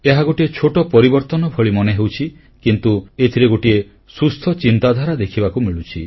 ଏହା ଗୋଟିଏ ଛୋଟ ପରିବର୍ତ୍ତନ ମନେ ହେଉଛି କିନ୍ତୁ ଏଥିରେ ଏକ ସୁସ୍ଥ ଚିନ୍ତାଧାରା ଦେଖିବାକୁ ମିଳୁଛି